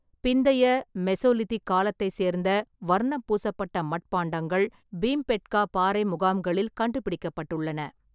பிந்தைய மெசோலிதிக் காலத்தைச் சேர்ந்த வர்ணம் பூசப்பட்ட மட்பாண்டங்கள் பீம்பேட்கா பாறை முகாம்களில் கண்டுபிடிக்கப்பட்டுள்ளன.